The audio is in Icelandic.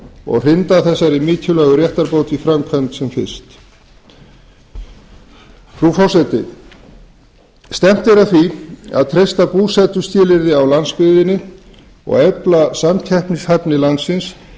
og hrinda þessari mikilvægu réttarbót í framkvæmd sem fyrst frú forseti stefnt er að því að treysta búsetuskilyrði á landsbyggðinni og efla samkeppnishæfni landsins